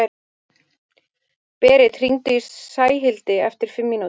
Berit, hringdu í Sæhildi eftir fimm mínútur.